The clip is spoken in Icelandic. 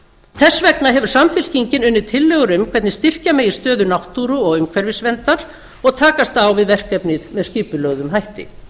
þess vegna hefur samfylkingin unnið tillögur um hvernig styrkja megi stöðu náttúru og umhverfisverndar og takast á við verkefnið með skipulögðum hætti